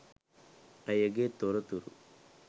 ඇයගේ තොරතුරු